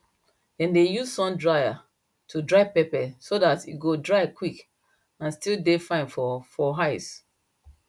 dem dey use sun dryer to dry pepper so dat e go dry quick and still fine for for eye